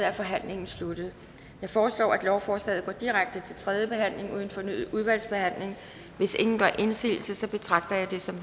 er forhandlingen sluttet jeg foreslår at lovforslaget går direkte til tredje behandling uden fornyet udvalgsbehandling hvis ingen gør indsigelse betragter jeg det som